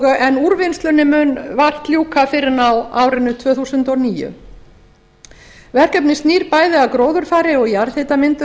en úrvinnslunni mun vart ljúka fyrr en á árinu tvö þúsund og níu verkefnið snýr bæði að gróðurfari og